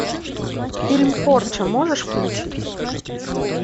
фильм порча можешь включить